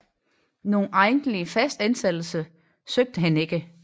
Nogen egentlig fastansættelse søgte han ikke